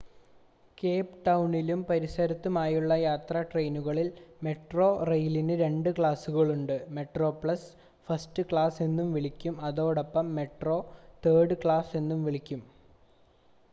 Cape ടൗണിലും പരിസരത്തുമുള്ള യാത്രാ ട്രെയിനുകളിൽ മെട്രോറെയിലിന് രണ്ട് ക്ലാസുകൾ ഉണ്ട്: മെട്രോപ്ലസ് ഫസ്റ്റ് ക്ലാസ് എന്നും വിളിക്കുന്നു അതോടൊപ്പം മെട്രോ തേർഡ് ക്ലാസ് എന്നും വിളിക്കുന്നു